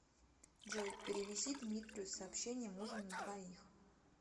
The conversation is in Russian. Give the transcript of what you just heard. джой перевези дмитрию с сообщением ужин на двоих